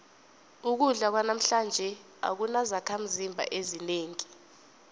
ukudla kwanamhlanje akunazakhimzimba ezinengi